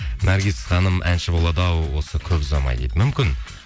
наргиз ханым әнші болады ау осы көп ұзамай дейді мүмкін